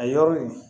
A yɔrɔ in